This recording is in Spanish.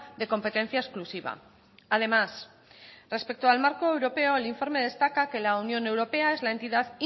de competencia exclusiva además respecto al marco europeo el informe destaca que la unión europea es la entidad